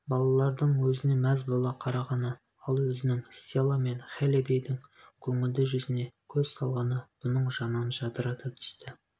балалардың өзін мәз бола қарағаны ал өзінің стелла мен хеллидэйдің көңілді жүзін көз салғаны бұның жанын жадырата түсті